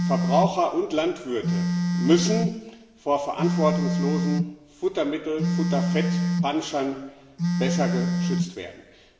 Verbraucher und Landwirte müssen vor verantwortungslosen Futtermittel und Futterfett Panschern besser geschützt werden.